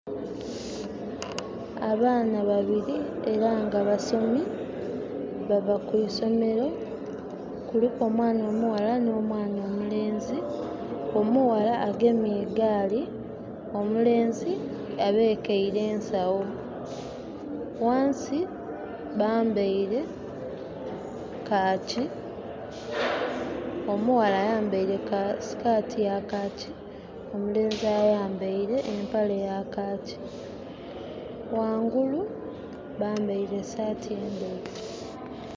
Abaana babili era nga basomi, bava ku isomero. Kuliku omwana omuwala n'omwana omulenzi. Omuwala agemye egaali, omulenzi abekeile ensawo. Wansi bambaile khaaki, omuwala ayambaile sikaati ya khaaki, omulenzi ayambaile empale ya khaaki. Wangulu bambaile esaati endheru.